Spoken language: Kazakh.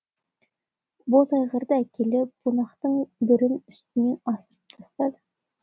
боз айғырды әкеліп бунақтың бірін үстінен асырып тастады